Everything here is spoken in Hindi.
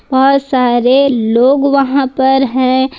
बहुत सारे लोग वहां पर हैं।